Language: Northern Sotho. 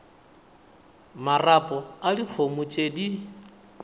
marapo a dikgomo tše di